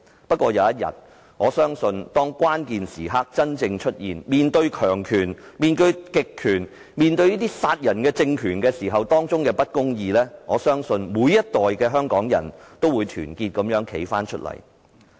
不過，我相信只要有一天，當關鍵時刻真正出現，面對強權、極權、殺人的政權及種種的不公義時，每一代的香港人都會團結地站起來。